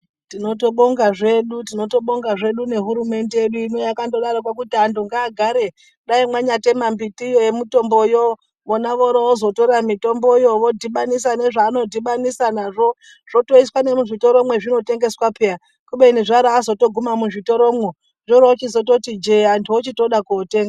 Tinotobonga zvedu tinobonga zvedu nehurumende yedu ino yakando darokwo kuti antu ngaagare dai mwanyatema mbitiyo yemitombo yo vona voroovozotora mitomboyo vodhibanisa nezvanodhibanisa nazvo zvotoiswa nemuzvitoro mwezvinotengeswa peya kubeni zvabaazotoguma muzvitoromwo zvoroozototi jee, antu oroochizoda kootenga.